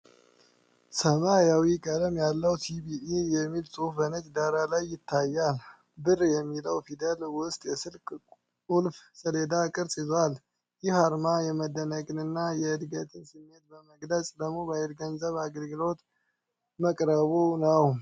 ሐምራዊ ቀለም ያለው "ሲቢኢ" የሚል ጽሑፍ በነጭ ዳራ ላይ ይታያል፤ "ብር" በሚለው ፊደል ውስጥ የስልክ ቁልፍ ሰሌዳ ቅርጽ ይዟል። ይህ አርማ የመደነቅንና የዕድገትን ስሜት በመግለጽ ለሞባይል ገንዘብ አገልግሎት መቅረቡ ነው።